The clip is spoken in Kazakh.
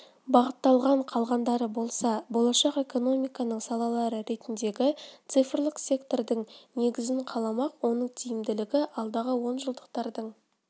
бағытталған қалғандары болса болашақ экономиканың салалары ретіндегі цифрлік сектордың негізін қаламақ оның тиімділігі алдағы онжылдықтардың